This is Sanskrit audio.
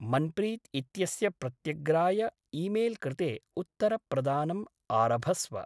मन्प्रीत् इत्यस्य प्रत्यग्राय ईमेल्कृते उत्तरप्रदानम् आरभस्व।